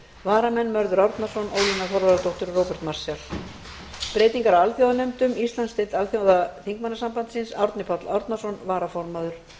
varamenn eru mörður árnason ólína þorvarðardóttir og róbert marshall frá þingflokki samfylkingarinnar breytingar á alþjóðanefndum íslandsdeild alþjóðaþingmannasambandsins árni páll árnason varaformaður